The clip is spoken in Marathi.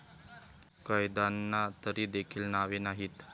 कैद्यांना तरी देखील नावे नाहीत.